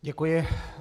Děkuji.